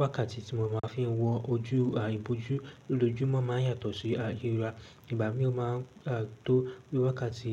Wákàtí tí mo ma ń fi wọ ojú ìbòjú lójoojúmọ́ máa ń yàtọ̀ sí ayé ra. Ìgbà mìí o máa ń tó bí i wákàtí